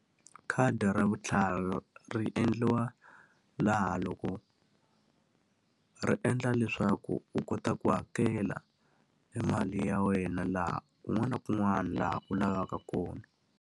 Khadi ra vutlhari ri endliwa laha loko ri endla leswaku u kota ku hakela e mali ya wena laha kun'wana na kun'wana laha u lavaka kona.